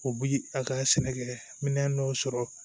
U bi a ka sɛnɛkɛ minɛn dɔw sɔrɔ